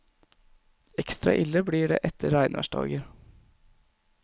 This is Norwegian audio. Ekstra ille blir det etter regnværsdager.